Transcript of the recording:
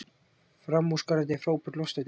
Framúrskarandi, frábært, lostæti.